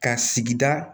Ka sigida